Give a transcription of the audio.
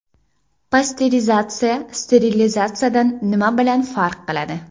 Pasterizatsiya sterilizatsiyadan nimasi bilan farq qiladi?